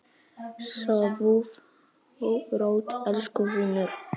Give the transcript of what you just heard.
Sofðu rótt, elsku vinur.